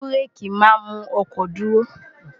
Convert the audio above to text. bú́réèkì máa ń mú ọkọ̀ dúró